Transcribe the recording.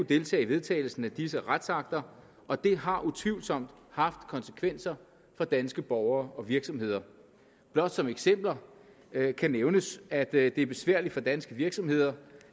deltage i vedtagelsen af disse retsakter og det har utvivlsomt haft konsekvenser for danske borgere og virksomheder blot som eksempel kan kan nævnes at det er besværligt for danske virksomheder